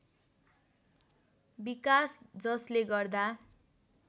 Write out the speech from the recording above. विकास जसले गर्दा